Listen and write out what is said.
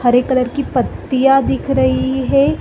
हरे colour की पत्तियाँ दिख रही है।